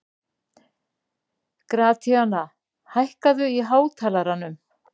Gratíana, hækkaðu í hátalaranum.